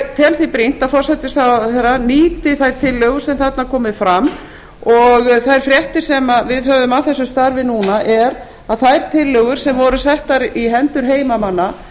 því brýnt að forsætisráðherra nýti þær tillögur sem þarna koma fram og þær fréttir sem við höfum af þessu starfi núna eru að þær tillögur sem voru settar í hendur heimamanna